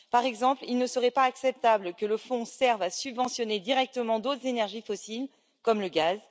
Par exemple, il ne serait pas acceptable que le fonds serve à subventionner indirectement d'autres énergies fossiles comme le gaz.